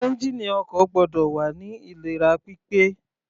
Ẹ́ngìnì ọkọ̀ gbọ́dọ̀ wà ní ìlera pípé.